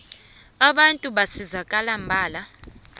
abantu basizakala mbala